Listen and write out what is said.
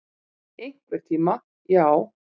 Einhvern tíma, já.